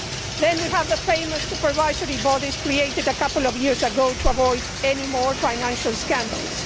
Then we have the famous supervisory bodies created a couple of years ago to avoid any more financial scandals.